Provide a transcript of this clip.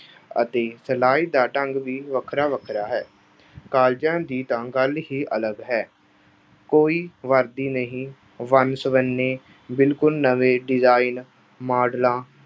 ਅਤੇ ਸਿਲਾਈ ਦਾ ਢੰਗ ਵੀ ਵੱਖਰਾ-ਵੱਖਰਾ ਹੈ। colleges ਦੀ ਤਾਂ ਗੱਲ ਹੀ ਅਲੱਗ ਹੈ। ਕੋਈ ਵਰਦੀ ਨਹੀਂ, ਵੰਨ-ਸੁਵੰਨੇ ਬਿਲਕੁਲ ਨਵੇਂ design, models